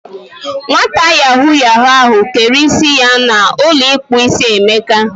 Nwata yahoo yahoo ahu kere isi ya na ulo ikpu isi Emeka.